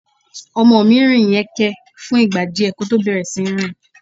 Ọmọ mí rìn yẹ́nkẹ́n fún ìgbà díẹ̀ kí ó tó bẹ̀rẹ̀ sí ní rìn.